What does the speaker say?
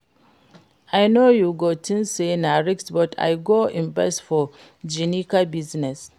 I know you go think say na risk but I go invest for Ginika business